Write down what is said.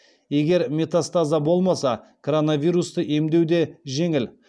егер метастаза болмаса коронавирусты емдеу де жеңіл